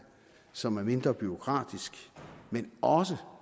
som er mindre bureaukratisk og også